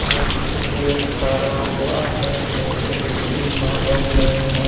वो किसलिए खड़ा हुआ है मुझे भी मालूम नहीं है।